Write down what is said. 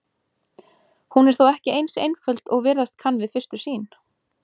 Hún er þó ekki eins einföld og virðast kann við fyrstu sýn.